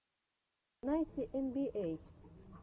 найти эн би эй